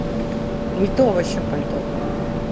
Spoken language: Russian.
не то вообще пальто